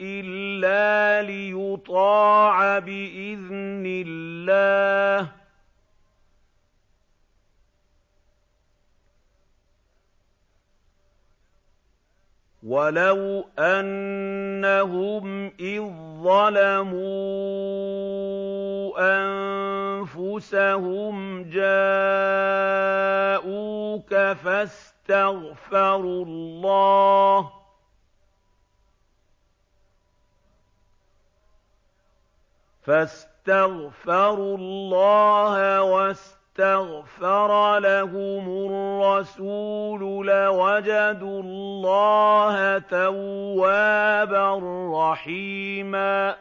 إِلَّا لِيُطَاعَ بِإِذْنِ اللَّهِ ۚ وَلَوْ أَنَّهُمْ إِذ ظَّلَمُوا أَنفُسَهُمْ جَاءُوكَ فَاسْتَغْفَرُوا اللَّهَ وَاسْتَغْفَرَ لَهُمُ الرَّسُولُ لَوَجَدُوا اللَّهَ تَوَّابًا رَّحِيمًا